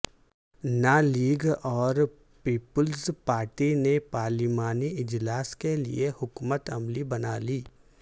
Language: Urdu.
ن لیگ اور پیپلز پارٹی نے پارلیمانی اجلاس کیلئے حکمت عملی بنالی